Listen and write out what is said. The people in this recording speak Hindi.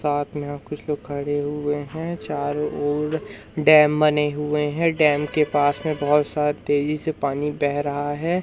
साथ में यहां कुछ लोग खड़े हुए है। चारों ओर डैम बने हुए है। डैम के पास में बहोत सारा तेजी से पानी बह रहा है।